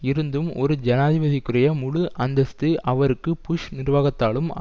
இருந்தும் ஒரு ஜனாதிபதிக்குரிய முழு அந்தஸ்து அவருக்கு புஷ் நிர்வாகத்தாலும்